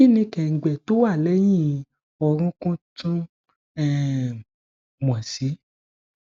kini kengbe to wa leyin orun kun tun um mo si